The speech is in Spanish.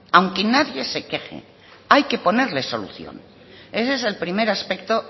aunque nadie se queje hay que ponerse solución ese es el primer aspecto